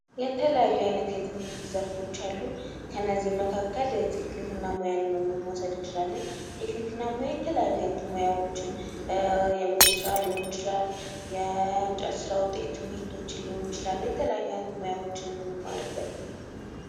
የተለያዩ አይነት የትምህርት ዘርፎች አሉ። ከእነዚህም መካከል ቴክኒክና ሙያን ሞሰብ እንችላለን። ቴክኒክና ሙያ የተለያዩ አይነት ሙያዎችን የምግብ ስራ ሊሆን ይችላል። የእንጨት ስራ ዉጤት ምርቶችን ሊሆን ይችላል። የተለያዩ አይነት ሙያዎችን የምንማርበት ነው።